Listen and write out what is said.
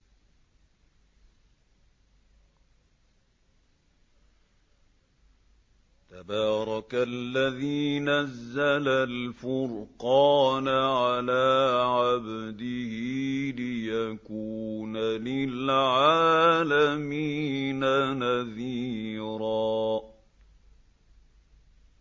تَبَارَكَ الَّذِي نَزَّلَ الْفُرْقَانَ عَلَىٰ عَبْدِهِ لِيَكُونَ لِلْعَالَمِينَ نَذِيرًا